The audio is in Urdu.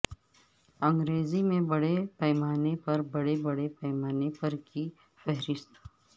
انگریزی میں بڑے پیمانے پر بڑے بڑے پیمانے پر کی فہرست